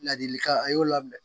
Ladilikan a y'o lamɛn